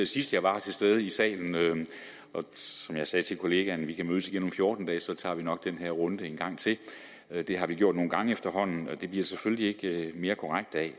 sidst jeg var til stede her i salen og som jeg sagde til kollegaen vi kan mødes igen om fjorten dage for så tager vi nok den her runde en gang til det har vi gjort nogle gange efterhånden og det bliver det selvfølgelig ikke mere korrekt af